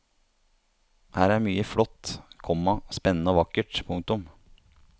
Her er mye flott, komma spennende og vakkert. punktum